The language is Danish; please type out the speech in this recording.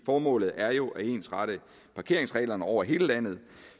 formålet er jo at ensrette parkeringsreglerne over hele landet